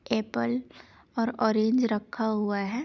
Apple और orange रखा हुआ है।